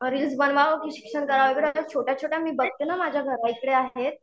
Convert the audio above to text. reels बनवावं की शिक्षण करावं एवढ्या छोट्या छोट्या मी बघते ना माझ्या घराइकडे आहेत